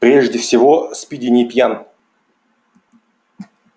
прежде всего спиди не пьян